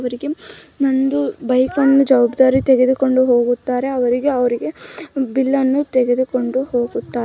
ಇವರಿಗೆ ಒಂದ್ ಬೈಕನ್ನು ಜವಾಬ್ದಾರಿ ತೆಗೆದುಕೊಂಡು ಹೋಗುತ್ತಾರೆ ಅವರಿಗೆ ಅವ್ರಿಗೆ ಬಿಲ್ಲ ನ್ನು ತೆಗೆದುಕೊಂಡು ಹೋಗುತ್ತಾ --